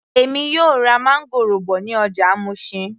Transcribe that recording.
Èmi yóò ra máńgòrò bọ̀ ní ọjà Mushin